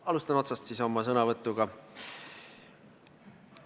Alustan siis otsast oma sõnavõtuga.